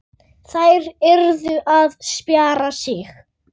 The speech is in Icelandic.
Þær yrðu að spjara sig.